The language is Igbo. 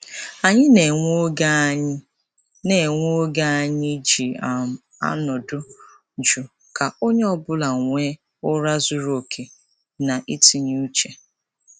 Anyị na-enwe oge Anyị na-enwe oge anyị ji um anọdụ juu ka onye ọ bụla nwee ụra zuru oke na itinye uche.